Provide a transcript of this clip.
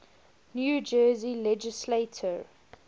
new jersey legislature